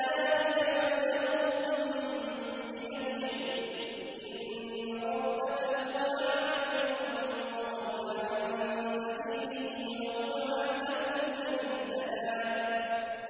ذَٰلِكَ مَبْلَغُهُم مِّنَ الْعِلْمِ ۚ إِنَّ رَبَّكَ هُوَ أَعْلَمُ بِمَن ضَلَّ عَن سَبِيلِهِ وَهُوَ أَعْلَمُ بِمَنِ اهْتَدَىٰ